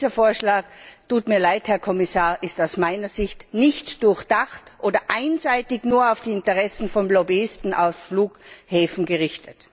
Dieser Vorschlag tut mir leid, Herr Kommissar ist aus meiner Sicht nicht durchdacht oder einseitig nur auf die Interessen von Lobbyisten auf Flughäfen gerichtet.